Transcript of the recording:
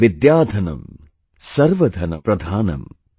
Vidyadhanam Sarva Dhanam Pradhanam